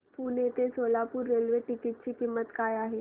पुणे ते Solapur railway ticket ची किंमत काय आहे